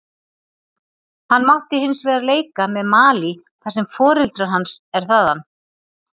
Hann mátti hinsvegar leika með Malí þar sem foreldri hans er þaðan.